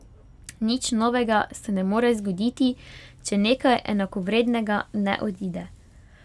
Nič novega se ne more zgoditi, če nekaj enakovrednega ne odide.